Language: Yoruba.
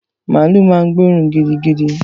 Màálú ma ń gbóòrún gidigidi